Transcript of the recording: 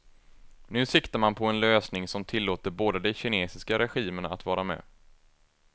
Nu siktar man på en lösning som tillåter båda de kinesiska regimerna att vara med.